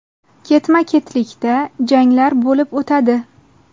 Ketma-ketlikda janglar bo‘lib o‘tadi.